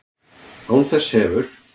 Án þess hefur